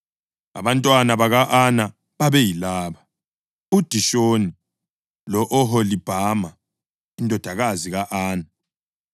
Abantwana baka-Ana babeyilaba: uDishoni lo-Oholibhama indodakazi ka-Ana.